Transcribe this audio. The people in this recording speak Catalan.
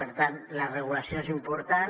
per tant la regulació és important